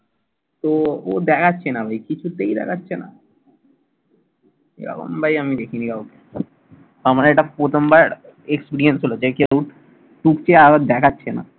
ও ও দেখাচ্ছে না ভাই। কিছুতেই দেখাচ্ছে না। এরকম ভাই আমি দেখিনি কাউকে। আমার এটা প্রথমবার experience হলো। যে কেউ টুকছে আবার দেখাচ্ছে না।